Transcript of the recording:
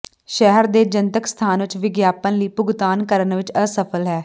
ਸ਼ਹਿਰ ਦੇ ਜਨਤਕ ਸਥਾਨ ਵਿੱਚ ਵਿਗਿਆਪਨ ਲਈ ਭੁਗਤਾਨ ਕਰਨ ਵਿੱਚ ਅਸਫਲ ਹੈ